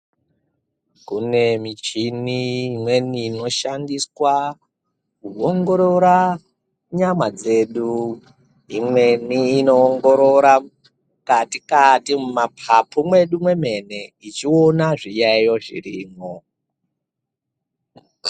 Kune michini imweni inoshandiswa kuongorora nyama dzedu imweni inoongorora mukati kati mumapapu mwedu mwemene ichiona zviyayiyo zvirimwo.